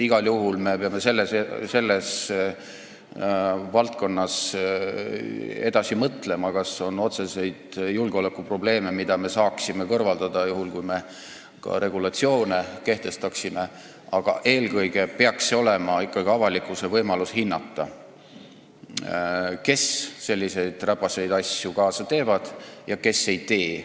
Igal juhul me peame selles valdkonnas edasi mõtlema, kas on otseseid julgeolekuprobleeme, mida me saaksime kõrvaldada, juhul kui me ka regulatsioone kehtestaksime, aga eelkõige peaks avalikkusel olema võimalus hinnata, kes selliseid räpaseid asju kaasa teevad ja kes ei tee.